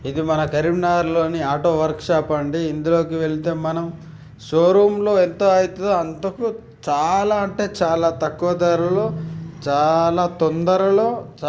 ఇది మన కరీంనగర్ లోని ఆటో వర్క్ షాప్ అండీ ఇందులోకి వెళితే మనం షోరూం లో ఎంత అవుతాదో అంత మనకు చాలా అంటే చాలా తక్కువ ధరలో చాలా తొందరలో